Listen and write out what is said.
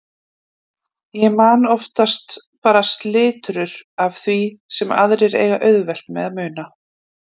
Ég man oftast bara slitrur af því sem aðrir eiga auðvelt með að muna.